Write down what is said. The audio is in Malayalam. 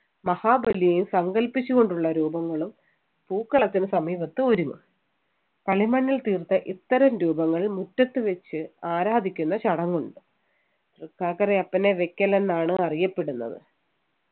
മഹാബലിയെയും സങ്കൽപ്പിച്ചു കൊണ്ടുള്ള രൂപങ്ങളും പൂക്കളത്തിന് സമീപത്ത് ഒരുങ്ങും കളിമണ്ണിൽ തീർത്ത ഇത്തരം രൂപങ്ങൾ മുറ്റത്ത് വെച്ച് ആരാധിക്കുന്ന ചടങ്ങുണ്ട് തൃക്കാക്കരയപ്പനെ വയ്ക്കൽ എന്നാണ് അറിയപ്പെടുന്നത്